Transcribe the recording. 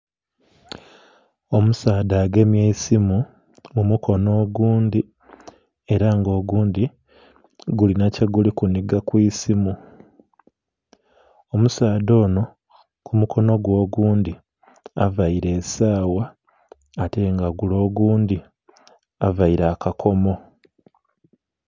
Omusaadha agemye eisimu mu mukono ogundhi era nga ogundhi gulina kyeguli kuniga ku isimu. Omusaadha ono ku mukono gwe ogundhi avaire esawa ate nga gule ogundhi avaire akakomo.